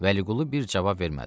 Vəliqulu bir cavab vermədi.